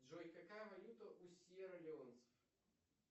джой какая валюта у сьера леонцев